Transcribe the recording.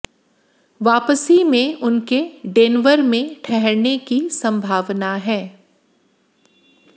वापसी में उनके डेनवर में ठहरने की संभावना है